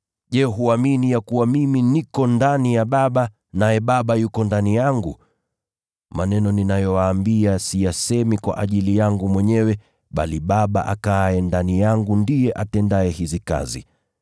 Je, huamini ya kuwa mimi niko ndani ya Baba, naye Baba yuko ndani yangu? Maneno ninayowaambia siyasemi kwa ajili yangu mwenyewe, bali Baba akaaye ndani yangu ndiye atendaye hizi kazi.